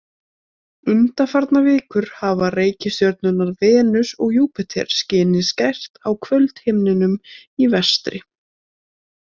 Undanfarnar vikur hafa reikistjörnurnar Venus og Júpíter skinið skært á kvöldhimninum í vestri.